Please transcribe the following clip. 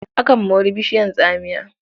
Akan mori bishiyar tsamiya.